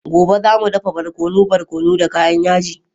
Gobe, za mu dafa barkono barkono da kayan yaji.